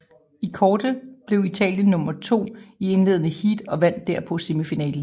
I kårde blev Italien nummer to i indledende heat og vandt derpå semifinalen